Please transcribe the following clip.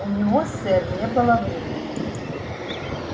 у него сэр не было времени